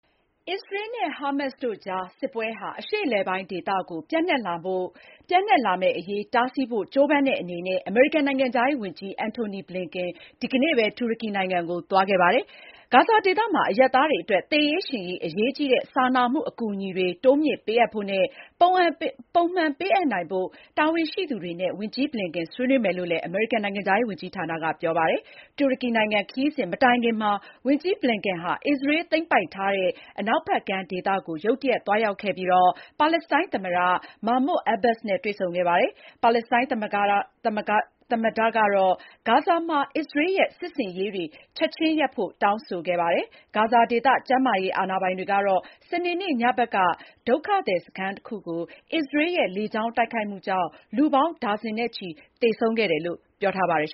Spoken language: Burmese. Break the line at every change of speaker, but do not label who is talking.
အစ္စရေးနဲ့ ဟာမတ်စ်တို့ကြား စစ်ပွဲဟာ အရှေ့အလယ်ပိုင်းဒေသကို ပြန့်နှံ့လာမှာ တားဆီးဖို့ ကြိုးပမ်းတဲ့အနေနဲ့ အမေရိကန် နိုင်ငံခြားရေးဝန်ကြီး Antony Blinken ဒီကနေ့ပဲ (နိုဝင်ဘာ ၆ ရက်) တူရကီနိုင်ငံကို သွားခဲ့ပါတယ်။ ဂါဇာဒေသမှာ အရပ်သားတွေအတွက် သေရေးရှင်ရေး အရေးကြီးတဲ့ စာနာမှု အကူအညီတွေ တိုးမြှင့်ပေးအပ်ဖို့နဲ့ ပုံမှန်ပေးအပ်နိုင်ဖို့ တာဝန်ရှိသူတွေနဲ့ ဝန်ကြီးဘလင်ကန် ဆွေးနွေးမယ်လို့လည်း အမေရိကန် နိုင်ငံခြားရေးဝန်ကြီးဌာနက ပြောပါတယ်။ တူရကီနိုင်ငံ Ankara ခရီးစဉ် မတိုင်ခင်မှာပဲ ဝန်ကြီးBlinken ဟာ အစ္စရေး သိမ်းပိုက်ထားတဲ့ အနောက်ဖက်ကမ်းဒေသကို ရုတ်တရက် သွားရောက်ခဲ့ပြီး ပါလက်စတိုင်းသမ္မတ Mahmoud Abbas နဲ့ တွေ့ဆုံခဲ့တာပါ။ ပါလက်စတိုင်းသမ္မတကတော့ ဂါဇာမှာ အစ္စရေးရဲ့ စစ်ဆင်ရေးတွေ ချက်ခြင်းရပ်ဖို့ တောင်းဆိုခဲ့ပါတယ်။ ဂါဇာဒေသ ကျန်းမာရေးအာဏာပိုင်တွေကတော့ စနေနေ့ညဖက်က ဒုက္ခသည်စခန်းတခုကို အစ္စရေးရဲ့ လေကြောင်းတိုက်ခိုက်မှုကြောင့် လူပေါင်း ဒါဇင်နဲ့ချီ သေဆုံးခဲ့တယ်လို့ ပြောထားပါတယ်